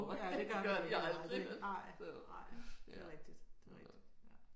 Ja og det gør de aldrig nej nej. Det er rigtigt det er rigtigt